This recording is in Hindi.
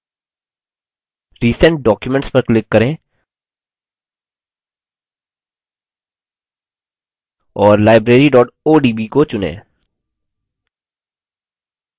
वैकल्पिक रूप से file menu मैं recent documents पर click करें और library odb को चुनें